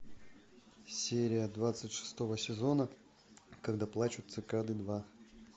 серия двадцать шестого сезона когда плачут цикады два